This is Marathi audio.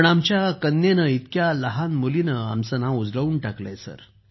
पण आमच्या मुलीनं इतक्या लहान मुलीनं आमचं नाव उजळून टाकलं